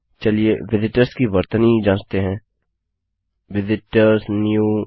चलिए विजिटर्स की वर्तनी जाँचते हैं visit ओआरएस new